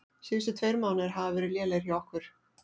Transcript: Síðustu tveir mánuðir hafa verið lélegir hjá okkur.